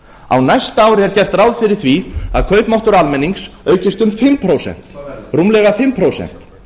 á næsta ári er gert ráð fyrir því að kaupmáttur almennings aukist um fimm prósent rúmlega fimm prósent